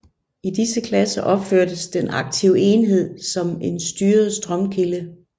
I disse klasser opfattes den aktive enhed som en styret strømkilde